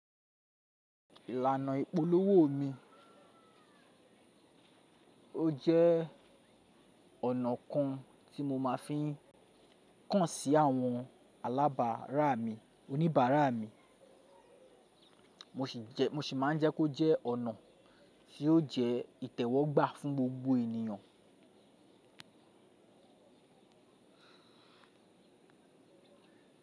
Ìlànà ìpolówó mi, ó jẹ́ ọ̀nà kan tí mo máa fi ń kàn sí àwọn alábàárà mi, oníbàárà mi. Mo sì máa ń jẹ́ kó jẹ́ ọ̀nà tí ó jẹ́ ìtẹ́wọ́gbà fún gbogbo ènìyàn.